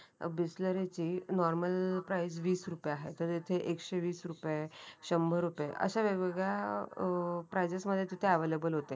अ बिसलेरी ची normal price विस रुपये आहे. तर तिथे एकशेवीस रुपये आहे. शंबर रुपये असे वेगवेगळ्या अ प्राईज मध्ये तिथे अवेलेबल होते.